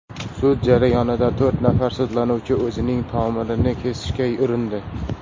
Sud jarayonida to‘rt nafar sudlanuvchi o‘zining tomirini kesishga urindi.